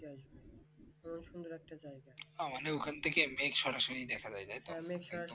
ও মানে ওখান থেকে মেঘ সরাসরি দেখা যাই তাই তো